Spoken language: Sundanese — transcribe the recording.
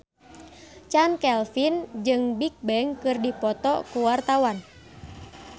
Chand Kelvin jeung Bigbang keur dipoto ku wartawan